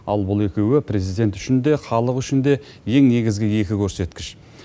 ал бұл екеуі президент үшін де халық үшін де ең негізгі екі көрсеткіш